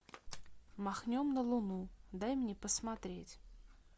махнем на луну дай мне посмотреть